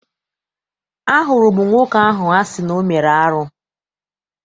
Ahụrụ m nwoke ahụ a sị na ọ mere arụ.